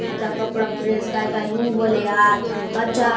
एथा कपड़ा प्रेस काय - काय हउ बले आत अच्छा --